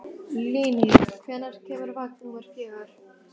Líni, hvenær kemur vagn númer fjögur?